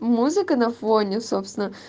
музыка на фоне собственно